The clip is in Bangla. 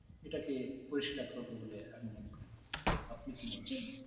এটাকে পরিষ্কার করব বলে, আপনি কি